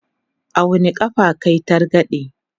a wani ƙafa kayi targaɗe?